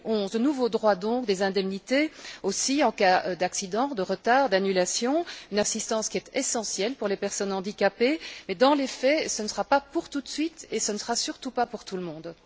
2011. De nouveaux droits donc, des indemnités aussi en cas d'accident, de retard, d'annulation, une assistance qui est essentielle pour les personnes handicapées, mais dans les faits, ce ne sera pas pour tout de suite et ce ne sera surtout pas pour tout le monde.